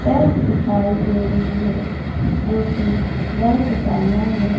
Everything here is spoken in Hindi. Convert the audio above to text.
बैंक दिखाई दे रही है जो की बैंक का नाम है--